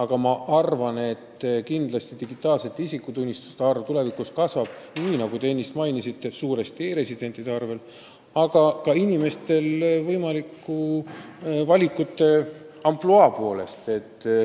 Ma siiski arvan, et tulevikus kasvab digitaalsete isikutunnistuste arv, nii nagu te ennist mainisite, suuresti e-residentide arvel, aga ka inimeste võimalike valikute laiema ampluaa tõttu.